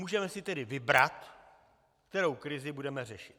Můžeme si tedy vybrat, kterou krizi budeme řešit.